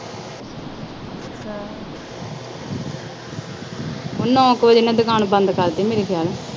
ਨੌਂ ਕੁ ਵਜੇ ਦੁਕਾਨ ਬੰਦ ਕਰਦੀ ਮੈਂ ਮੇਰੇ ਖਿਆਲ।